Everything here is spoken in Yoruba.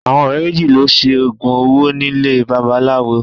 Àwọn ọ̀rẹ́ méjì lọ Se oògùn owó nílé babaláwo